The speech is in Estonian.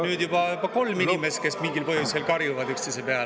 … nüüd juba kolm inimest, kes mingil põhjusel karjuvad üksteise peale.